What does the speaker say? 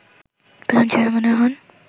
প্রথম চেয়ারম্যানের হন